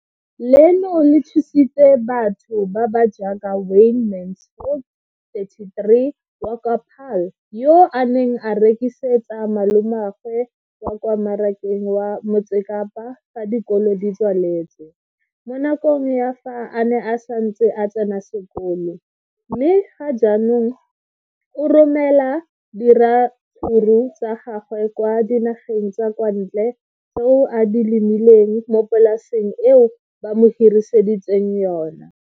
Leno le thusitse batho ba ba jaaka Wayne Mansfield, 33, wa kwa Paarl, yo a neng a rekisetsa malomagwe kwa Marakeng wa Motsekapa fa dikolo di tswaletse, mo nakong ya fa a ne a santse a tsena sekolo, mme ga jaanong o romela diratsuru tsa gagwe kwa dinageng tsa kwa ntle tseo a di lemileng mo polaseng eo ba mo hiriseditseng yona.